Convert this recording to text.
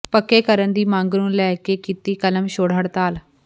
ਪੱਕੇ ਕਰਨ ਦੀ ਮੰਗ ਨੂੰ ਲੈ ਕੇ ਕੀਤੀ ਕਲਮਛੋੜ ਹੜਤਾਲ